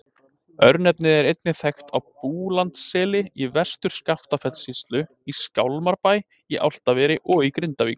Örnefnið er einnig þekkt á Búlandsseli í Vestur-Skaftafellssýslu, í Skálmarbæ í Álftaveri og í Grindavík.